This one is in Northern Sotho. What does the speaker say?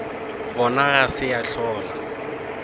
gona ga se ya hlola